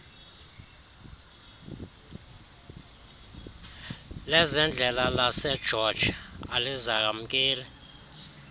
lezendlela lasegeorge alizamkeli